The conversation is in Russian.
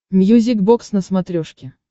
мьюзик бокс на смотрешке